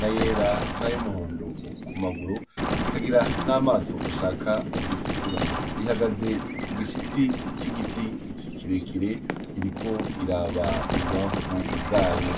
na yera, nay'umuhondo kumaguru ,ikagira n'amaso ashaka gutukura. ihagaze kugishitsi c'igiti kirekire iriko iraba ibubamfu bwayo.